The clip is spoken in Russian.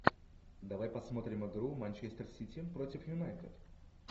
давай посмотрим игру манчестер сити против юнайтед